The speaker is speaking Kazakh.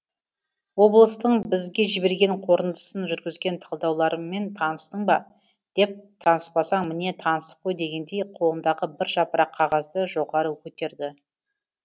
облыстың бізге жіберген қорытындысын жүргізген талдауларымен таныстың ба деп таныспасаң міне танысып қой дегендей қолындағы бір жапырақ қағазды жоғары көтерді